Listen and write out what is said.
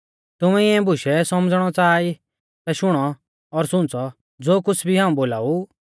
तुमै इऐं बूशै सौमझ़णौ च़ाहा ई ता शुणौ और सुंच़ौ ज़ो कुछ़ भी हाऊं बोलाऊ